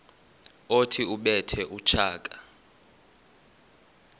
othi ubethe utshaka